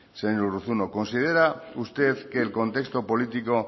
señor urruzuno considera usted que el contexto político